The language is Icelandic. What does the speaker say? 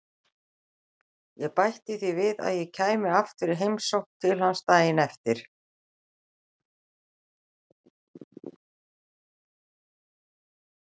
Ég bætti því við að ég kæmi aftur í heimsókn til hans daginn eftir.